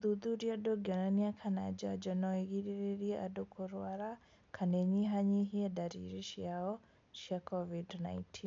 ũthuthuria ndũngĩonania kana njanjo no ũgirĩrĩrie andũ kũrũara kana ĩnyihanyihie ndariri ciao cia Covid-19